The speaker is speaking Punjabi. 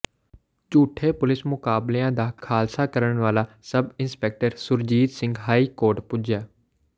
ਝੂਠੇ ਪੁਲਿਸ ਮੁਕਾਬਲਿਆਂ ਦਾ ਖ਼ੁਲਾਸਾ ਕਰਨ ਵਾਲਾ sub inspector Surjit Singh high court ਪੁੱਜਾ